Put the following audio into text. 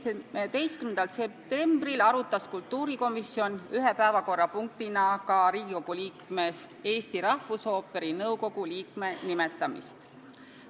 17. septembril arutas kultuurikomisjon ühe päevakorrapunktina ka Riigikogu liikmest Eesti Rahvusooperi nõukogu liikme nimetamist.